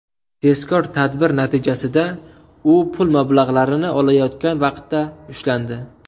Tezkor tadbir natijasida u pul mablag‘larini olayotgan vaqtda ushlandi.